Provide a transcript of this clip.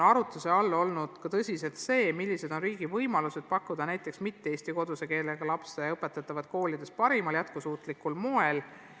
Arutluse all on tõsiselt olnud ka see, millised on riigi võimalused pakkuda muukeelsetele lastele parimal jätkusuutlikul moel tuge.